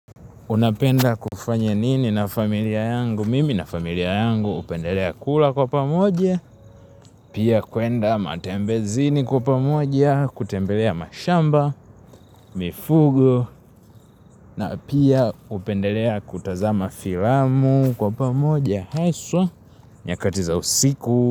Unapenda kufanya nini na familia yangu, mimi na familia yangu hupendelea kula kwa pamoja pia kuenda matembezini kwa pamoja kutembelea mashamba mifugo na pia hupendelea kutazama filamu kwa pamoja haswa nyakati za usiku.